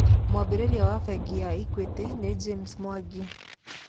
Mwambĩrĩria wa bengi ya Equity nĩ James Mwangi.